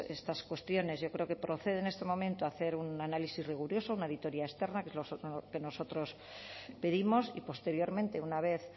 estas cuestiones yo creo que procede en este momento hacer un análisis riguroso una auditoría externa que es lo que nosotros pedimos y posteriormente una vez